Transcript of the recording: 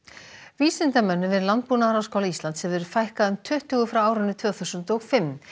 vísindamönnum við Landbúnaðarháskóla Íslands hefur fækkað um tuttugu frá tvö þúsund og fimm